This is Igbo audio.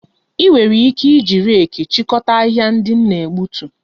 Ị nwere ike iji reeki chịkọta ahịhịa ndị m na-egbutu